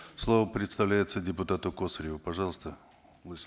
слово предоставляется депутату косареву пожалуйста